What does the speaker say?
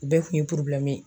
U bɛɛ kun ye